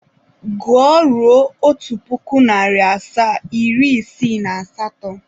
Gụọ ruo otu puku, nari asaa, iri isiii na asato!